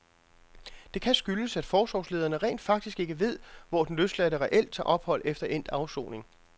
Det kan skyldes, at forsorgslederne rent faktisk ikke ved, hvor den løsladte reelt tager ophold efter endt afsoning.